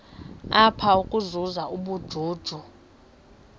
apha ukuzuza ubujuju